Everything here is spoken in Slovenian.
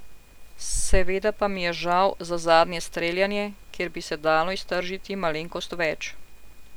Seveda pa mi je žal za zadnje streljanje, kjer bi se dalo iztržiti malenkost več.